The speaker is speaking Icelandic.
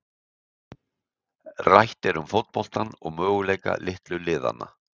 Rætt er um fótboltann og möguleika litlu liðanna.